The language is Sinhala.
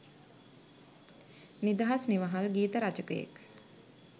නිදහස් නිවහල් ගීත රචකයෙක්